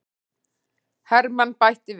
Hermann bætti við.